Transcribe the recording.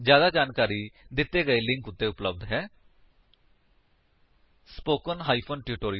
ਜਿਆਦਾ ਜਾਣਕਾਰੀ ਦਿੱਤੇ ਗਏ ਲਿੰਕ ਉੱਤੇ ਉਪਲੱਬਧ ਹੈ http spoken tutorialorgnmeict ਇੰਟਰੋ